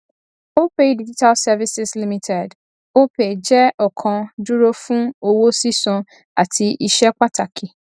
opay digital services limited opay jẹ ọkan dúró fún owó sísan àti iṣẹ pàtàkì